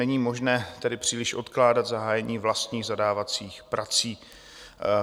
Není možné tedy příliš odkládat zahájení vlastních zadávacích prací.